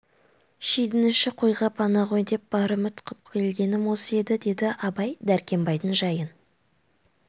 шидің іші қойға пана ғой деп бар үміт қып келгенім осы еді деді абай дәркембайдың жайын